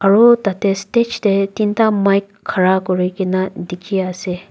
aru tarte stage te tinta mic khara kori kena dekhi ase.